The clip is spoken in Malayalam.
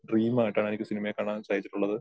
ഡ്രീം ആയിട്ടാണ് എനിക്ക് സിനിമയെ കാണാൻ സാധിച്ചിട്ടുള്ളത്.